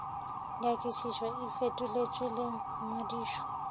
nyakišišo e fetoletšwe le ngwadišo